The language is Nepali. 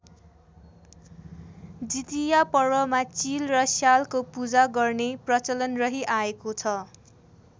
जितिया पर्वमा चिल र स्यालको पूजा गर्ने प्रचलन रहि आएको छ।